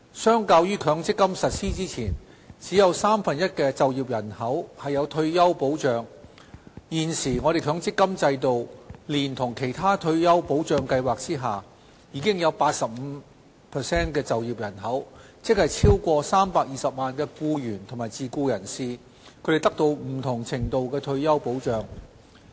相較於強積金實施前，只有三分之一的就業人口有退休保障，現時，強積金制度連同其他退休保障計劃下，已有 85% 的就業人口，即超過320萬僱員及自僱人士，獲得不同程度的退休保障。